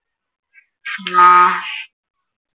ആഹ്